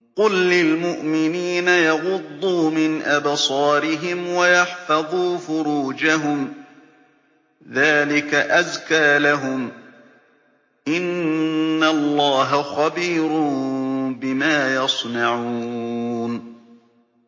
قُل لِّلْمُؤْمِنِينَ يَغُضُّوا مِنْ أَبْصَارِهِمْ وَيَحْفَظُوا فُرُوجَهُمْ ۚ ذَٰلِكَ أَزْكَىٰ لَهُمْ ۗ إِنَّ اللَّهَ خَبِيرٌ بِمَا يَصْنَعُونَ